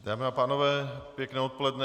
Dámy a pánové, pěkné odpoledne.